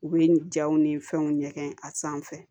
U bɛ jaw ni fɛnw ɲɛgɛn a sanfɛ